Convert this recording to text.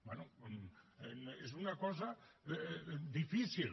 bé és una cosa difícil